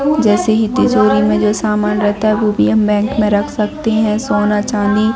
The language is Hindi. जैसे ही तिजोरी में जो समान रहता है वह भी हम बैंक में रख सकते हैं सोना चांदी--